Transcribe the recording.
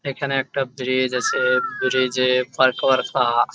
এইখানে একটা ব্রিজ আছে ব্রিজে পারকরফা।